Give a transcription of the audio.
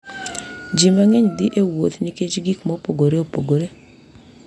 Ji mang’eny dhi e wuoth nikech gik mopogore opogore.